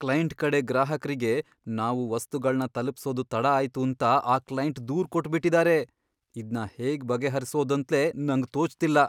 Client ಕಡೆ ಗ್ರಾಹಕ್ರಿಗೆ ನಾವು ವಸ್ತುಗಳ್ನ ತಲುಪ್ಸೋದ್ ತಡ ಆಯ್ತೂಂತ ಆ ಕ್ಲೈಂಟ್ ದೂರ್ ಕೊಟ್ಬಿಟಿದಾರೆ. ಇದ್ನ ಹೇಗ್ ಬಗೆಹರ್ಸೋದಂತ್ಲೇ ನಂಗ್ ತೋಚ್ತಿಲ್ಲ.